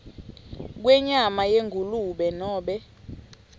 kwenyama yengulube nobe